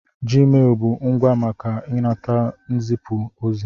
Jiimelụ bụ ngwá maka ịnata n'izipu ozi.